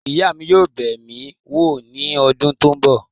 Ìyá mi yóò bẹ̀ mí wò ní ọdún tó ń bọ̀.